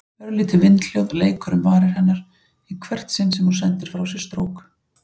Örlítið vindhljóð leikur um varir hennar í hvert sinn sem hún sendir frá sér strók.